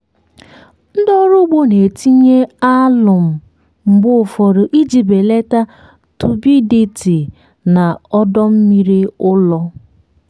ndị ọrụ ugbo na-etinye alụmụ mgbe ụfọdụ iji belata turbidity na ọdọ mmiri ụrọ.